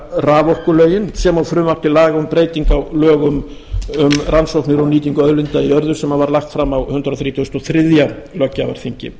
raforkulögin sem og frumvarp til laga um breytingu á lögum um rannsóknir og nýtingu auðlinda í jörðu sem var lagt var fram á hundrað þrítugasta og þriðja löggjafarþingi